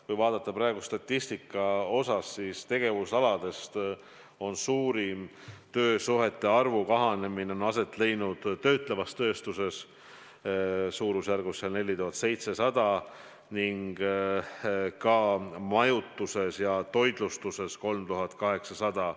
Kui vaadata statistikat, siis tegevusaladest on suurim töösuhete arvu kahanemine aset leidnud töötlevas tööstuses, suurusjärgus 4700, ning ka majutuses ja toitlustuses: 3800.